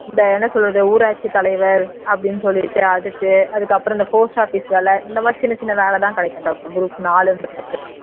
இந்த என்ன சொல்றது ஊராட்சி தலைவர் அப்படின்னு சொல்லிட்டு அதுக்கு அதுக்கப்புறம் இந்த post office வேலை இந்த மாதிரி சின்ன சின்ன வேலைதான் கிடைக்கும்டா group நாலுன்றதுக்கு